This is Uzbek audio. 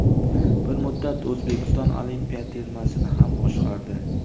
Bir muddat O‘zbekiston olimpiya termasini ham boshqardi.